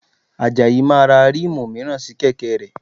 Àjàyí máa ra ríìmù mìíràn sí kẹ̀kẹ́ rẹ̀